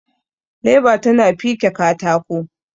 leba tana fike katako